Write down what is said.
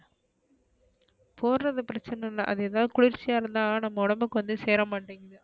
போடுறது பிரச்சன இல்ல அது எதாவது குளிர்ச்சியா இருந்தா நம்ம ஒடம்புக்கு வந்து சேரமாடிங்குது,